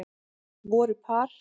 Voru par